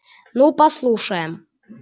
ну послушаем